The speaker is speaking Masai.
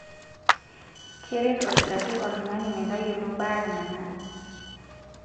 Keret olkitarri oltung'ani metayiolo baare nanare.